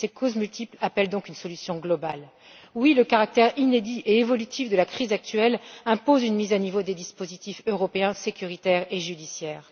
Ces causes multiples appellent donc une solution globale. Oui, le caractère inédit et évolutif de la crise actuelle impose une mise à niveau des dispositifs européens sécuritaires et judiciaires.